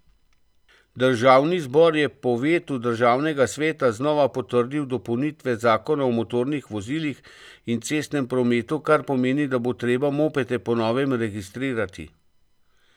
Državni zbor je po vetu državnega sveta znova potrdil dopolnitve zakona o motornih vozilih in cestnem prometu, kar pomeni, da bo treba mopede po novem registrirati.